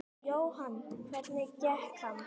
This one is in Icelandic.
Jóhann: Hvernig gekk hann?